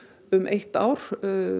um eitt ár